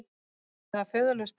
Eða föðurlaus börn.